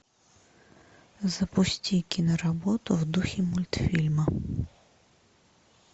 запусти киноработу в духе мультфильма